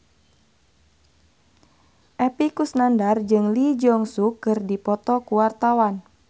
Epy Kusnandar jeung Lee Jeong Suk keur dipoto ku wartawan